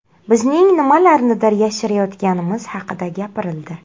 Bizning nimalarnidir yashirayotganimiz haqida gapirildi.